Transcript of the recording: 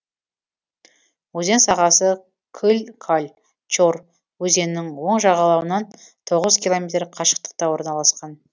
өзен сағасы кыль каль чор өзенінің оң жағалауынан тоғыз километр қашықтықта орналасқан